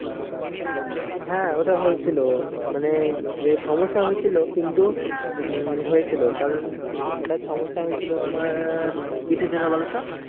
হ্যাঁ ওটা হয়েছিল মানে সমস্যা হয়েছিল কিন্তু উম হয়েছিল কারণ ওটা সমস্যা হয়েছিল তোমার কিসের জন্য বলতো?